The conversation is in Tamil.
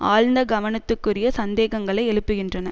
ஆழ்ந்த கவனத்துக்குரிய சந்தேகங்களை எழுப்புகின்றன